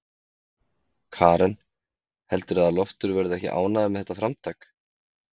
Karen: Heldurðu að Loftur verði ekki ánægður með þetta framtak?